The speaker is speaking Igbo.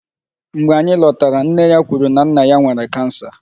Mgbe anyị lọtara, nne ya kwuru na nna ya nwere 'cancer'.